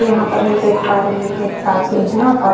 यहाँ पर हम देख पा रहे हैं कि एक पार्किंग है और --